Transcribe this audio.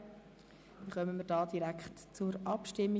Dann kommen wir direkt zur Abstimmung.